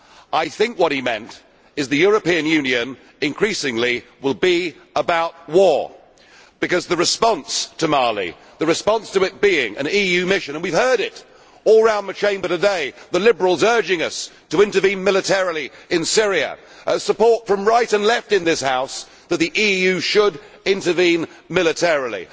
I think what he meant is the European Union increasingly will be about war because the response to Mali, the response to it being an EU mission and we have heard it all around the the Chamber today, the Liberals urging us to intervene militarily in Syria, support from right and left in this House is that the EU should intervene militarily.